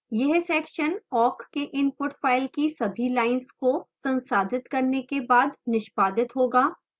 यह section awk के input file की सभी lines को संसाधित करने के बाद निष्पादित होगा